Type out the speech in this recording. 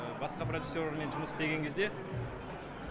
басқа продюсерлермен жұмыс істеген кезде